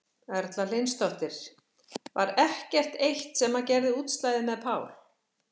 Erla Hlynsdóttir: Var ekkert eitt sem að gerði útslagið með Pál?